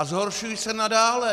A zhoršují se nadále!